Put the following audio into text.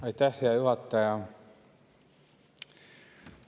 Aitäh, hea juhataja!